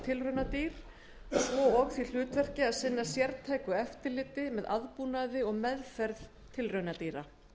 tilraunadýr svo og því hlutverki að sinna sértæku eftirliti með aðbúnaði og meðferð tilraunadýra